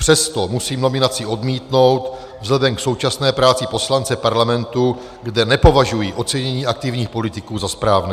Přesto musím nominaci odmítnout vzhledem k současné práci poslance Parlamentu, kde nepovažuji ocenění aktivních politiků za správné.